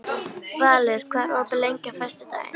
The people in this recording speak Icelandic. Valur, hvað er opið lengi á föstudaginn?